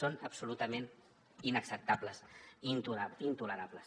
són absolutament inacceptables i intolerables